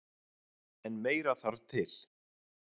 En meira þarf til